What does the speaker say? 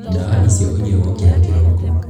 Ndawa icio ũnyue waũkĩra kĩriko.